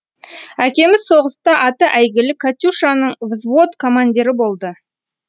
әкеміз соғыста аты әйгілі катюшаның взвод командирі болды